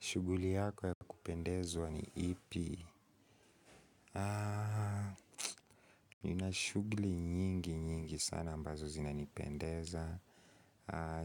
Shuguli yako ya kupendezwa ni ipi? Nina shuguli nyingi nyingi sana ambazo zinanipendeza.